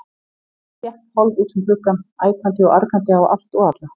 Ég hékk hálf út um gluggann, æpandi og argandi á allt og alla.